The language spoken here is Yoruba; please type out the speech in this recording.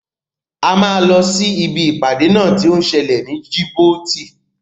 A máa lọ sí ibi ìpàdé náà tí ó ń sẹlẹ̀ ní Djibouti.